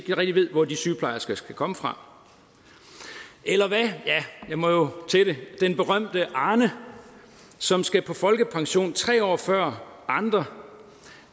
hvor de sygeplejersker skal komme fra eller ja jeg må jo til det hvad den berømte arne som skal på folkepension tre år før andre